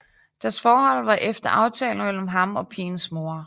Deres forhold var efter aftale mellem ham og pigens mor